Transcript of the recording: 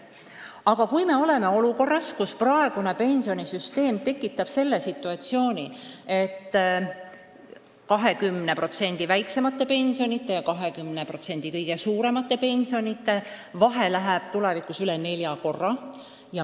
Aga me oleme olukorras, kus praegune pensionisüsteem tekitab sellise situatsiooni, et 20% kõige väiksemate pensionide ja 20% kõige suuremate pensionide vahe kasvab tulevikus üle nelja korra.